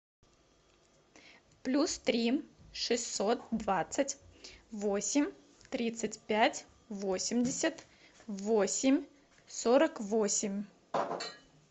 плюс три шестьсот двадцать восемь тридцать пять восемьдесят восемь сорок восемь